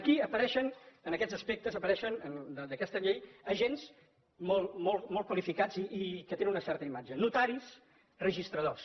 aquí apareixen en aquests aspectes d’aquesta llei apareixen agents molt qualificats i que tenen una certa imatge notaris registradors